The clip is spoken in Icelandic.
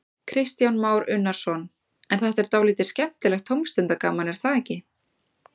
Kristján Már Unnarsson: En þetta er dálítið skemmtilegt tómstundagaman, er það ekki?